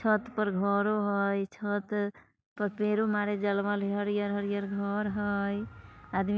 छत पर घरो हई छत पर पेरू मरे हरयल-हरयल घर हई आदमी --